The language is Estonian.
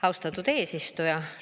Austatud eesistuja!